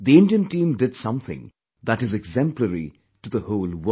The Indian team did something that is exemplary to the whole world